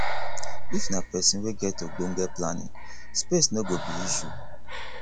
if na person wey get ogbonge planning space no go be issue